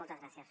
moltes gràcies